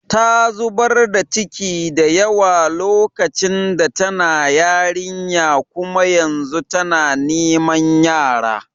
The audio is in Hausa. Ta zubar da ciki da yawa lokacin da tana yarinya kuma yanzu tana niman yara.